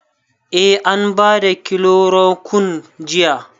Eh an ba da kilorokun jiya.